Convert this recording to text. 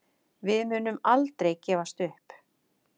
Við munum aldrei gefast upp